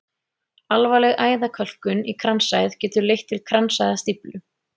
Alvarleg æðakölkun í kransæð getur leitt til kransæðastíflu.